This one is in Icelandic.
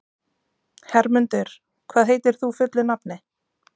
Hermundur, hvað heitir þú fullu nafni?